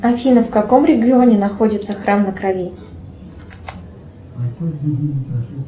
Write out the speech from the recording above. афина в каком регионе находится храм на крови